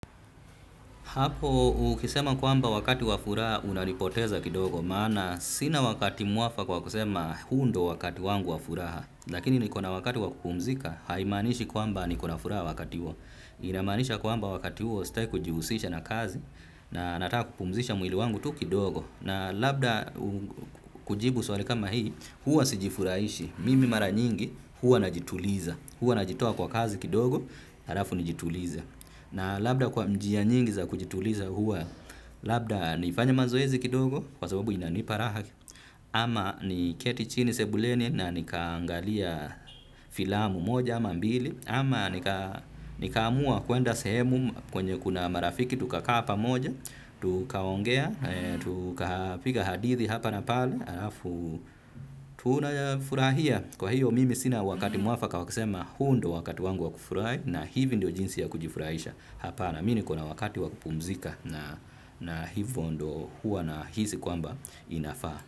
Hapo ukisema kwamba wakati wa furaha unanipoteza kidogo, maana sina wakati mwafaka wa kusema huu ndio wakati wangu wa furaha, lakini nikona wakati wa kupumzika, haimanishi kwamba nikona furaha wakati huo. Inamanisha kwamba wakati huo, staki kujihusisha na kazi, na nataka kupumzisha mwili wangu tu kidogo, na labda kujibu swali kama hii, huwa sijifurahishi, mimi mara nyingi, huwa najituliza. Huwa najitia kwa kazi kidogo, halafu nijitulize. Na labda kwa njia nyingi za kujituliza huwa labda nifanye mazoezi kidogo, kwa sababu inanipa raha. Ama niketi chini sebuleni na nikaangalia filamu moja ama mbili. Ama nikaamua kuenda sehemu kwenye kuna marafiki, tukakaa pamoja, tukaongea, tuka piga hadithi hapa na pale, halafu tunafurahia. Kwa hiyo mimi sina wakati mwafaka wa kusema hu ndio wakati wangu wa kufurahi na hivi ndio jinsi ya kujifurahisha. Hapana mimi niko na wakati wa kupumzika na hivyo ndio huwa nahisi kwamba inafaa.